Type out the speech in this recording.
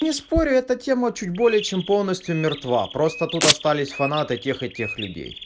не спорю эта тема чуть более чем полностью мертва просто тут остались фанаты тех и тех людей